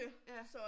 Ja